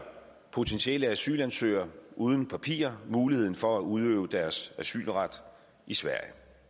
potentielle asylansøgere uden papirer muligheden for at udøve deres asylret i sverige